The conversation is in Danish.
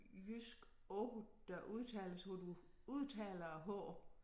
Jyske ord der udtales hvor du udtaler æ h